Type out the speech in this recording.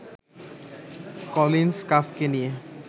Collins কাফ্-কে নিয়ে